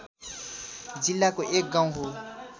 जिल्लाको एक गाउँ हो